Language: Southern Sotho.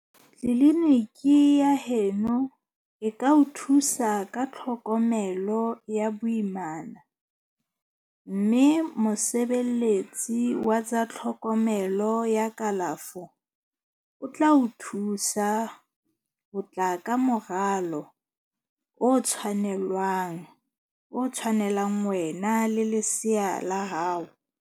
Tleliniki ya heno e ka o thusa ka tlhokomelo ya boimana mme mosebeletsi wa tsa tlhokomelo ya kalafo o tla o thusa ho tla ka moralo o tshwanelang wena le lesea la hao.